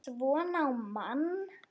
SVONA Á MANN!